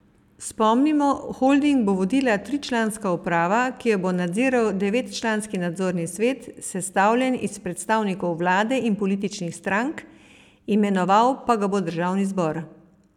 Spomnimo, holding bo vodila tričlanska uprava, ki jo bo nadziral devetčlanski nadzorni svet, sestavljen iz predstavnikov vlade in političnih strank, imenoval pa ga bo državni zbor.